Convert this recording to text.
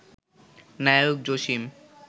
Naik Jasim